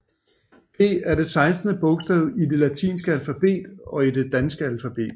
P er det sekstende bogstav i det latinske alfabet og i det danske alfabet